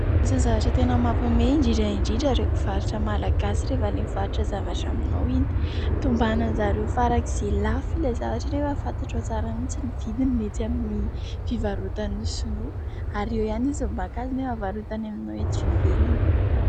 Misy ny zavatra tena mampihome, indrindra indrindra reo mpivarotra Malagasy rehefa ilay mivarotra zavatra aminao iny. Tombanan'izy ireo farak'izay lafo ilay zavatra, anefa fantatrao tsara mintsy ny vidiny eny amin'ny fivarotan'ny sinoa ary eo ihany izy vao maka azy nefa avarotany aminao eo ivelany.